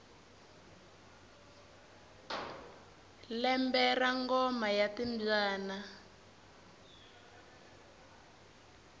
lembe ra ngoma ya timbyana